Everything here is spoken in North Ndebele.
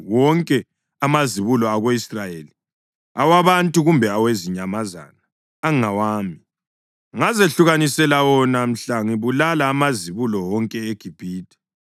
Wonke amazibulo ako-Israyeli, awabantu kumbe awezinyamazana, angawami. Ngazehlukanisela wona mhla ngibulala amazibulo wonke eGibhithe.